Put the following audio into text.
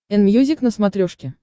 энмьюзик на смотрешке